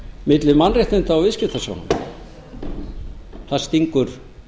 milli mannréttinda og viðskiptasjónarmiða það stingur